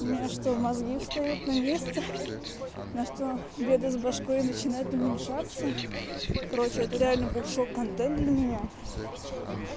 у меня что мозги встают на место на что деда с башкой и начинает уменьшаться короче это реально был шок контент для меня